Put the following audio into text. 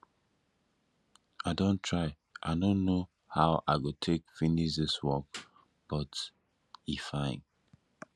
i don try i no know how i go take finish dis work but e fine